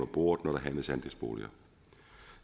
bordet når der handles andelsboliger